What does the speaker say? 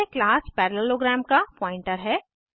यह class parallelogram का pointer है